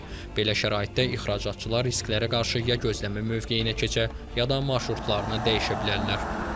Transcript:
Belə şəraitdə ixracatçılar risklərə qarşı ya gözləmə mövqeyinə keçə, ya da marşrutlarını dəyişə bilərlər.